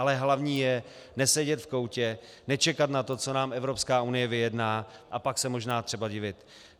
Ale hlavní je nesedět v koutě, nečekat na to, co nám Evropská unie vyjedná a pak se možná třeba divit.